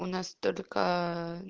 у нас только